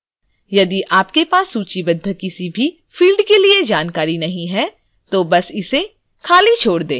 यदि आपके पास सूचीबद्ध किसी भी field के लिए जानकारी नहीं है तो बस इसे खाली छोड़ दें